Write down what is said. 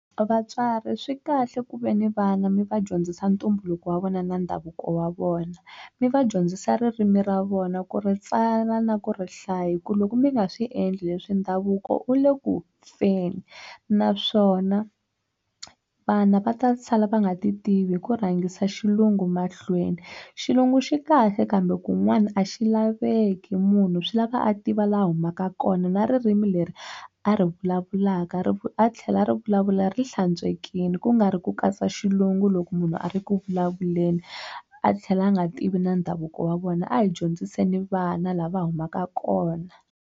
Vatswari swi kahle ku ve ni vana mi va dyondzisa ntumbuluko wa vona na ndhavuko wa vona mi va dyondzisa ririmi ra vona ku ri tsala na ku ri hlayi hi ku loko mi nga swi endli leswi ndhavuko u le ku feni naswona vana va ta sala va nga ti tivi hi ku rhangisa xilungu mahlweni xilungu xi kahle kambe kun'wana a xi laveki munhu swi lava a tiva laha u humaka kona na ririmi leri a ri vulavulaka a tlhela a ri vulavula ri hlantswekeile ku nga ri ku katsa xilungu loko munhu a ri ku vulavuleni a tlhela a nga tivi na ndhavuko wa vona a hi dyondziseni vana laha va humaka kona.